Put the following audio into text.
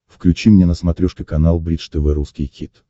включи мне на смотрешке канал бридж тв русский хит